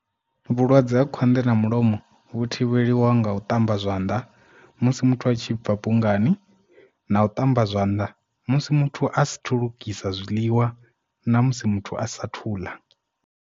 Vhulwadze ha khwanḓa na mulomo vhu thivheliwa nga u ṱamba zwanḓa musi muthu a tshi bva bungani, na u ṱamba zwanḓa musi muthu a sathu lugisa zwiḽiwa, na musi muthu a sa thuḽa.